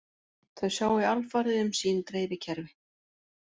Þau sjái alfarið um sín dreifikerfi